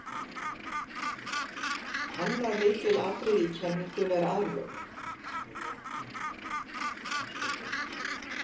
Annað lykilatriði í kenningunni er aðlögun.